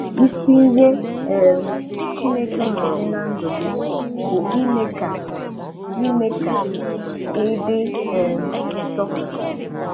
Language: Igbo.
Isi ihe um Chineke na-eme ná ndụ gị bụ ime ka ime ka ị dị um nsọ.